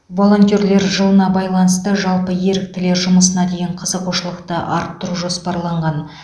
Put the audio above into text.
волонтерлер жылына байланысты жалпы еріктілер жұмысына деген қызығушылықты арттыру жоспарланған